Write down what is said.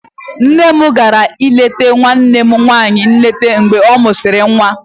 Nne m gara ileta nwanne m nwanyị nleta mgbe ọ mụsịrị nwa.